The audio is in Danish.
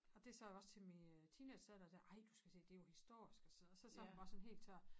Og det sagde jeg også til min øh teenangedatter dér ej du skal se det jo historisk og sidde og så sagde hun bare sådan helt tør